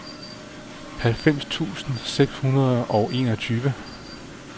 halvfems tusind seks hundrede og enogtyve